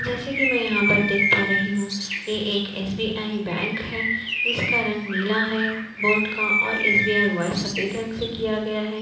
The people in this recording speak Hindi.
जैसे कि मैं यहाँ पर देख पा रही हूं ये एक एसबीआई बैंक है जिसका रंग नीला है बोर्ड का और एसबीआई व्हाइट सफेद रंग से किया गया है।